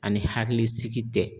Ani hakili sigi bɛ.